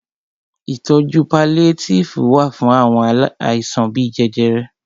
Ìtọjú paliétífù wà fún àwọn àìsàn bíi jẹjẹrẹ.